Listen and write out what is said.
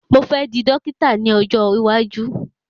Mo fẹ́ di Dọ́kítà ní ọjọ́ iwájú.